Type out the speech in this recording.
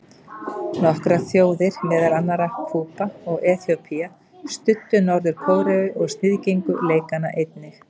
Nokkrar þjóðir, meðal annarra Kúba og Eþíópía, studdu Norður-Kóreu og sniðgengu leikana einnig.